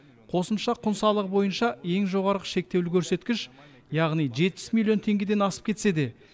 қосымша құн салығы бойынша ең жоғарғы шектеулі көрсеткіш яғни жетпіс миллион теңгеден асып кетсе де